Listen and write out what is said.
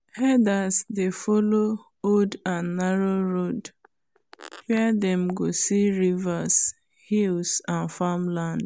herders dey follow old and narrow road where them go see rivers hills and farmland